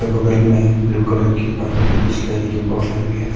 बगल मे blue colour की पानी की बिसलेरी की बॉटल भी है।